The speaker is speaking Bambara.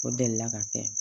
O delila ka kɛ